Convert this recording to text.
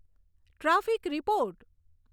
traffic report